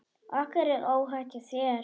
Okkur er óhætt hjá þér.